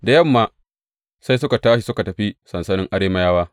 Da yamma sai suka tashi suka tafi sansanin Arameyawa.